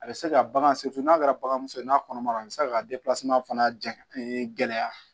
A bɛ se ka bagan n'a kɛra bagan fɛ ye n'a kɔnɔmaya la a bɛ se ka fana ja gɛlɛya